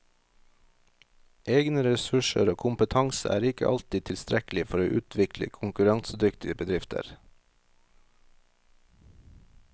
Egne ressurser og kompetanse er ikke alltid tilstrekkelig for å utvikle konkurransedyktige bedrifter.